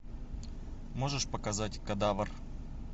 можешь показать кадавр